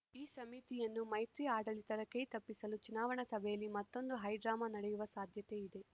ಈ ಸಮಿತಿಯನ್ನು ಮೈತ್ರಿ ಆಡಳಿತದ ಕೈ ತಪ್ಪಿಸಲು ಚುನಾವಣಾ ಸಭೆಯಲ್ಲಿ ಮತ್ತೊಂದು ಹೈಡ್ರಾಮಾ ನಡೆಯುವ ಸಾಧ್ಯತೆ ಇದೆ